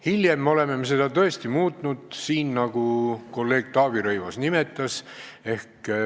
Hiljem oleme me seda tõesti muutnud, nagu kolleeg Taavi Rõivas viitas.